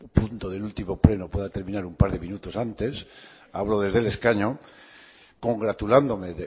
punto del último pleno pueda terminar un par de minutos antes hablo desde el escaño congratulándome